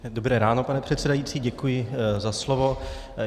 Dobré ráno, pane předsedající, děkuji za slovo.